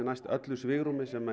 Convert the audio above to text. næst öllu svigrúmi sem